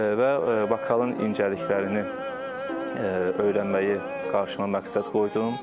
Və vokalın incəliklərini öyrənməyi qarşıma məqsəd qoydum.